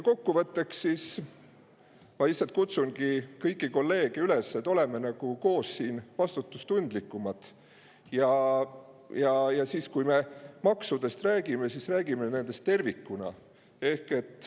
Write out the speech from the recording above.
Kokkuvõtteks, ma lihtsalt kutsun kõiki kolleege üles, et me oleksime koos vastutustundlikumad, ja kui me maksudest räägime, räägime nendest tervikuna.